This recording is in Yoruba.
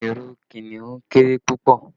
Lion has a very small tail